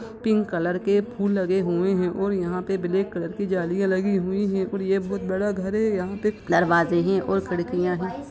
Pink colour के फूल लगे हुए हैऔर यहां पे ब्लैक कलर की जलियां लगी है और ये बहुत बड़ा घर है यहां पे बहुत बड़ा दरवाजे है खिड़कियां है।